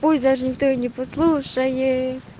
даже никто не послушаю